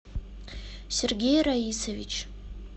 сергей раисович